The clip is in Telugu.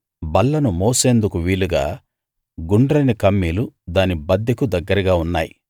బల్లను మోసేందుకు వీలుగా గుండ్రని కమ్మీలు దాని బద్దెకు దగ్గరగా ఉన్నాయి